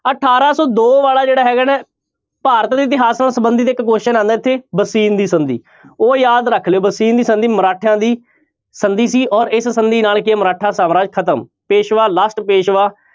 ਅਠਾਰਾਂ ਸੌ ਦੋ ਵਾਲਾ ਜਿਹੜਾ ਹੈਗਾ ਨਾ ਭਾਰਤ ਦੇ ਇਤਿਹਾਸ ਨਾਲ ਸੰਬੰਧਤ ਇੱਕ question ਆਉਂਦਾ ਇੱਥੇ ਬਸੀਨ ਦੀ ਸੰਧੀ ਉਹ ਯਾਦ ਰੱਖ ਲਇਓ ਬਸੀਨ ਦੀ ਸੰਧੀ ਮਰਾਠਿਆਂ ਦੀ ਸੰਧੀ ਸੀ ਔਰ ਇਸ ਸੰਧੀ ਨਾਲ ਕੀ ਹੈ ਮਰਾਠਾ ਸਮਰਾਜ ਖਤਮ, ਪੇਸਵਾ last ਪੇਸਵਾ